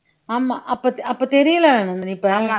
ஆமா அப்ப அப்ப தெரியலே இப்ப